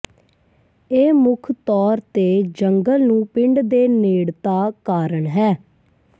ਇਹ ਮੁੱਖ ਤੌਰ ਤੇ ਜੰਗਲ ਨੂੰ ਪਿੰਡ ਦੇ ਨੇੜਤਾ ਕਾਰਨ ਹੈ